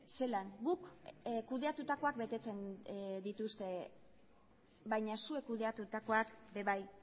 zelan guk kudeatutakoak betetzen dituzte baina zuek kudeatutakoak ere bai